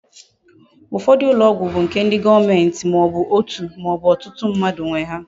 Ufodu ulo ogwu bu nke ndi goomenti ma obu otu ma obu otutu mmadu nwe ha